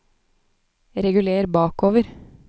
reguler bakover